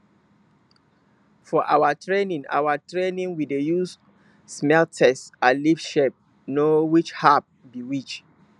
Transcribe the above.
for our training our training we dey use smell taste and leaf shape know which herb be which